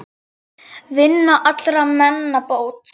Vinnan allra meina bót.